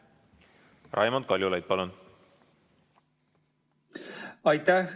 Raimond Kaljulaid, palun!